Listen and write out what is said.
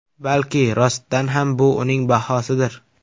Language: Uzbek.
Balki, rostdan ham bu uning bahosidir.